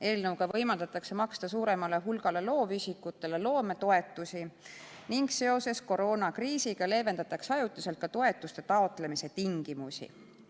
Eelnõuga võimaldatakse maksta suuremale hulgale loovisikutele loometoetusi ning seoses koroonakriisiga leevendatakse ajutiselt ka toetuste taotlemise tingimusi.